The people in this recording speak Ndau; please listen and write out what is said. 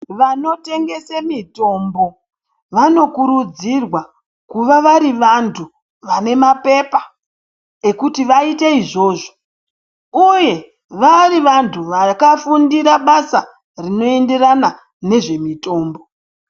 Vanotengese mitombo vanokurudzirwa kuva vari vantu vanemapepa ekuti vaite izvozvo uye vari vanhu vakafundira basa rinoenderana nezvemutombo.